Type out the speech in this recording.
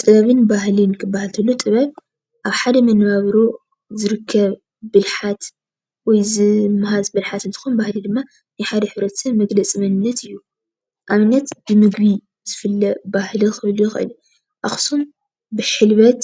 ጥበብ ባህልን ክበሃል እንተሎ ጥበብ አብ ሓደ መነባብሮ ዝርከብ ብልሓት ወይ ዝማሃዝ ብልሓት እንትኾን ባህሊ ድማ ናይ ሓደ ሕብረተስብ መግለፂ መንነት እዩ። አብነት ብምግቢ ዝፍለጥ ምግቢ ክህሉ ይክእል አዩ። አክሱም ብሕልበት